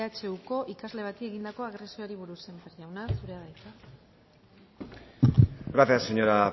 ehuko ikasle bati egindako agresioari buruz sémper jauna zurea da hitza gracias señora